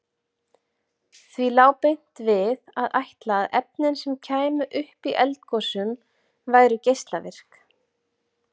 Því lá beint við að ætla að efnin sem kæmu upp í eldgosum væru geislavirk.